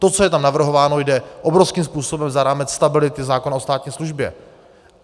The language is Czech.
To, co je tam navrhováno, jde obrovským způsobem za rámec stability zákona o státní službě.